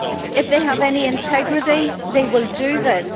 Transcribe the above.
If they have any integrity, they will do this.